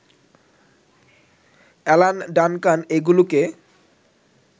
Alan Duncan এগুলোকে